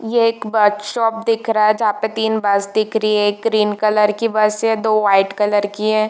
ये एक bus stop दिख रहा है जहाँ पे तीन बस दिख रही है एक ग्रीन कलर की बस है दो व्हाइट कलर की है।